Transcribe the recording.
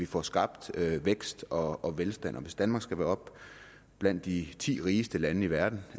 får skabt vækst og og velstand hvis danmark skal være blandt de ti rigeste lande i verden